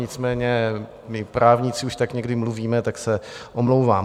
Nicméně my právníci už tak někdy mluvíme, tak se omlouvám.